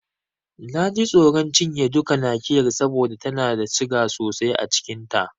Na ji tsoron cinye duka Nakiyar saboda tana da siga sosai a cikin ta.